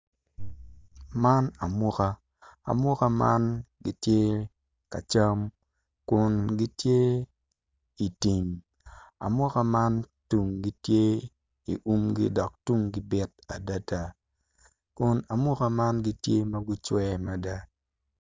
Man amuka, amuka man gitye ka cam kun gitye itim amuka man tunggi tye i umgi dok tunggi bit adida kun amuka man tye ma gucwe mada